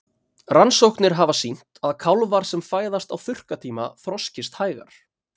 Rannsóknir hafa sýnt að kálfar sem fæðast á þurrkatíma þroskist hægar.